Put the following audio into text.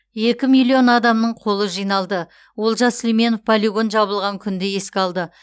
екі миллион адамның қолы жиналды олжас сүлейменов полигон жабылған күнді еске алды